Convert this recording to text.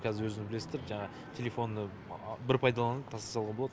қазір өздеріңіздер білесіздер жаңағы телефонды бір пайдаланып тастай салуға болады